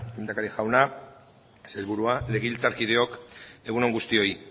lehendakari jauna sailburua legebiltzarkideok egun on guztioi